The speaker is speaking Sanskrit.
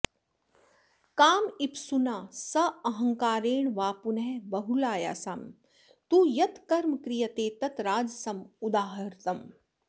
कामेप्सुना साहंकारेण वा पुनः बहुलायासं तु यत् कर्म क्रियते तत् राजसम् उदाहृतम्